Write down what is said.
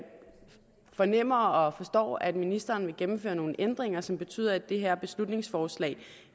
fornemmer og forstår at ministeren vil gennemføre nogle ændringer som betyder at det her beslutningsforslag